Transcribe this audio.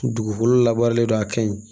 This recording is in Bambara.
Dugukolo labaaralen don a ka ɲi